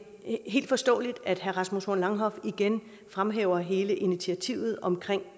helt forståeligt at herre rasmus horn langhoff igen fremhæver hele initiativet omkring